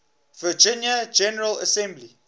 virginia general assembly